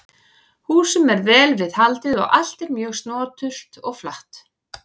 Húsum er vel við haldið og allt er mjög snoturt og flatt.